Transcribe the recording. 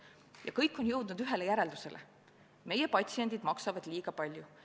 Ja kõik on jõudnud ühele järeldusele: meie patsiendid maksavad liiga palju.